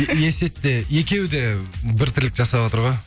есет те екеуі де бір тірлік жасаватыр ғой